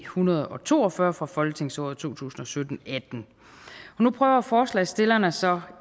hundrede og to og fyrre fra folketingsåret to tusind og sytten til atten nu prøver forslagsstillerne så